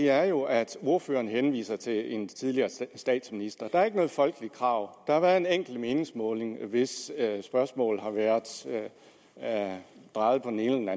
er jo at ordføreren henviser til en tidligere statsminister der er ikke noget folkeligt krav der har været en enkelt meningsmåling hvis spørgsmål har været drejet på den ene